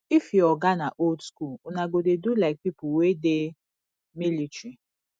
if your oga na old skool una go dey do like pipo wey dey military